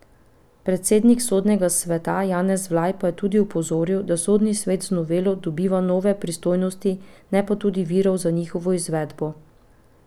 Predsednik sodnega sveta Janez Vlaj pa je tudi opozoril, da sodni svet z novelo dobiva nove pristojnosti, ne pa tudi virov za njihovo izvedbo.